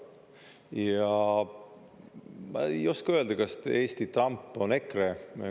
Ja ma ei oska öelda, kas Eesti Trump on EKRE.